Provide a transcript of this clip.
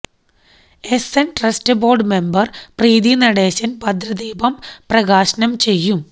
S N trust board member Preethi Natesan ഭദ്രദീപം പ്രകാശനം ചെയ്യും